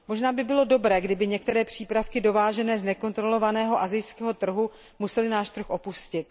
Možná by bylo dobré, kdyby některé přípravky dovážené z nekontrolovaného asijského trhu musely náš trh opustit.